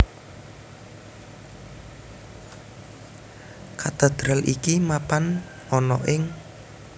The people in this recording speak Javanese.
Katedral iki mapan ana ing